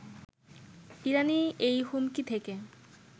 ইরানি এই হুমকি থেকে